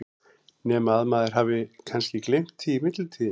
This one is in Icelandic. Nema að maður hafi kannski gleymt því í millitíðinni?